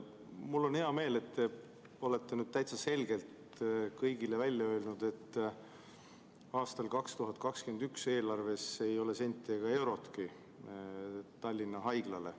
Mul on hea meel, et te olete nüüd täitsa selgelt kõigile välja öelnud, et aastal 2021 ei ole eelarves senti ega eurotki Tallinna Haiglale.